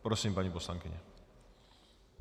Prosím, paní poslankyně.